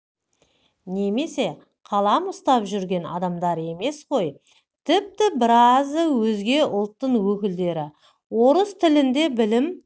немесе қалам ұстап жүрген адамдар емес ғой тіпті біразы өзге ұлттың өкілдері орыс тілінде білім